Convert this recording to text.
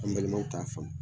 An balimaw t'a faamu